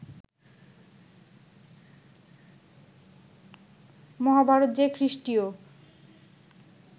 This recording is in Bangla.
মহাভারত যে খ্রীষ্টীয়